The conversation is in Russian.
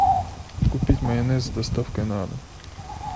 купить майонез с доставкой на дом